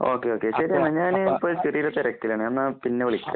Okay. Okay. ശരി. ഞാൻ ഇപ്പോൾ ചെറിയൊരു തിരക്കിലാണ്. ഞാൻ എന്നാൽ പിന്നെ വിളിക്കാം.